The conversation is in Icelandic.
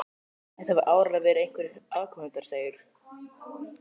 Þetta hafa áreiðanlega verið einhverjir aðkomuhundarnir segir